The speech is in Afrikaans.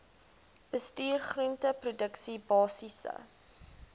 bestuur groenteproduksie basiese